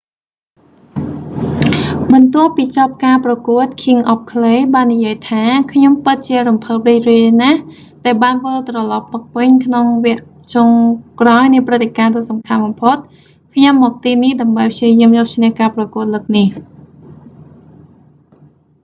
បន្ទាប់ពីចប់ការប្រកួត king of clay បាននិយាយថា ខ្ញុំពិតជារំភើបរីករាយណាស់ ដែលបានវិលត្រលប់មកវិញ ក្នុងវគ្គចុងក្រោយនៃព្រឹត្តិការណ៍ដ៏សំខាន់បំផុត ខ្ញុំមកទីនេះ ដើម្បីព្យាយាមយកឈ្នះការប្រកួតលើកនេះ